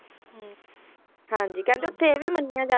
ਹੁੰ ਹਾਂਜੀ ਕਹਿੰਦੇ ਉੱਥੇ ਇਹ ਵੀ ਮੰਨਿਆ